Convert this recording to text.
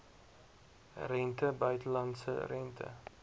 rente buitelandse rente